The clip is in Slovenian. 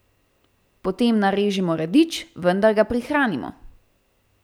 Potem narežemo radič, vendar ga prihranimo.